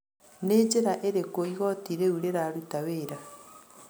Nĩ njĩra ĩrĩku igotĩ rĩu rĩrarũta wĩra?